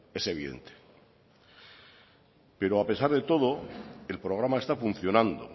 es evidente pero a pesar de todo el programa está funcionando